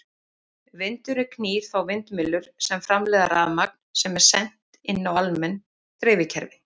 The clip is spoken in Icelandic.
Vindurinn knýr þá vindmyllur sem framleiða rafmagn sem er sent inn á almenn dreifikerfi.